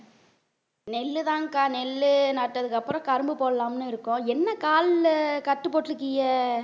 நெல்லுதான்க்கா நெல்லு நட்டதுக்கு அப்புறம் கரும்பு போடலாம்னு இருக்கோம் என்ன கால்ல கட்டு போட்டு இருக்கீங்க